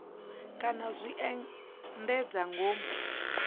kana u zwi endedza ngomu